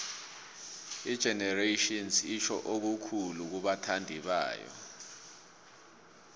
igenerations itjho okukhulu kubathandibayo